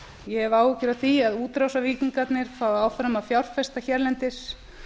ég hef áhyggjur af því að útrásarvíkingarnir fái áfram að fjárfesta hérlendis